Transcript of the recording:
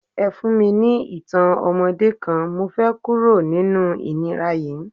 Ẹ fún mi ní ìtàn ọmọdé kan, mo fẹ́ kúrò nínú ìnira yí.